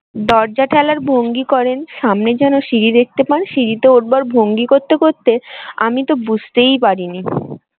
দরজা ঠেলার ভঙ্গি করেন সামনে যেন সিঁড়ি দেখতে পান সিঁড়িতে ওঠবার ভঙ্গি করতে করতে আমি তো বুঝতেই পারিনি।